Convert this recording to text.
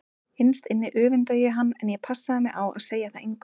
Innst inni öfundaði ég hann en ég passaði mig á að segja það engum.